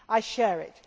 I share it.